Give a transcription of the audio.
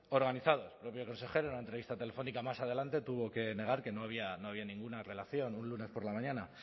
organizados el propio consejero en una entrevista telefónica más adelante tuvo que negar que no había ninguna relación un lunes por la mañana